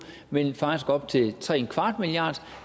men faktisk op til 3¼ milliard